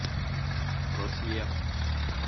просвет